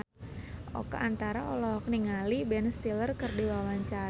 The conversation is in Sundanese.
Oka Antara olohok ningali Ben Stiller keur diwawancara